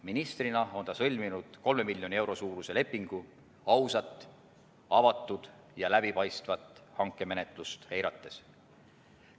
Ministrina on ta sõlminud 3 miljoni euro suuruse lepingu ausat, avatud ja läbipaistvat hankemenetlust eirates.